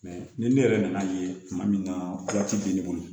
ni ne yɛrɛ nan'a ye tuma min na bɛ ne bolo